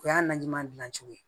O y'a na ɲuman dilan cogo ye